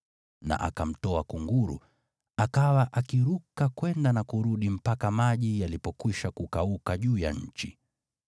na akamtoa kunguru, akawa akiruka kwenda na kurudi mpaka maji yalipokwisha kukauka juu ya nchi.